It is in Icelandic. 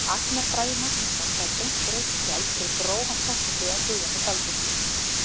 Agnar Bragi Magnússon fær beint rautt spjald fyrir grófa tæklingu á Guðjóni Baldvinssyni.